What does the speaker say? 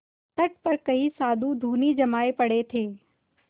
तट पर कई साधु धूनी जमाये पड़े थे